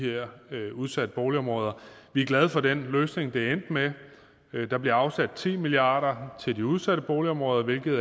udsatte boligområder vi er glade for den løsning det endte med der bliver afsat ti milliard kroner til de udsatte boligområder hvilket